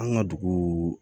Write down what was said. An ka dugu